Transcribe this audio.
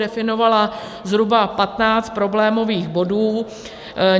Definovala zhruba 15 problémových bodů.